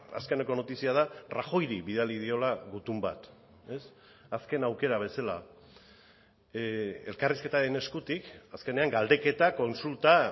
azkeneko notizia da rajoyri bidali diola gutun bat azken aukera bezala elkarrizketaren eskutik azkenean galdeketa kontsulta